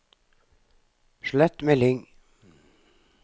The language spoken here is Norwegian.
slett melding